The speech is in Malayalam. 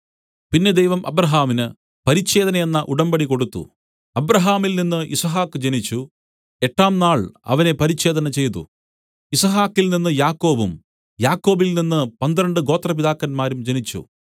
പിന്നെ ദൈവം അബ്രാഹാമിന് പരിച്ഛേദനയെന്ന ഉടമ്പടി കൊടുത്തു അബ്രാഹാമിൽനിന്ന് യിസ്ഹാക്ക് ജനിച്ചു എട്ടാം നാൾ അവനെ പരിച്ഛേദന ചെയ്തു യിസ്ഹാക്കിൽനിന്ന് യാക്കോബും യാക്കോബിൽനിന്ന് പന്ത്രണ്ട് ഗോത്രപിതാക്കന്മാരും ജനിച്ചു